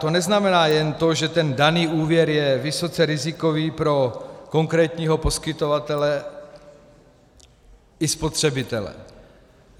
To neznamená jen to, že ten daný úvěr je vysoce rizikový pro konkrétního poskytovatele i spotřebitele.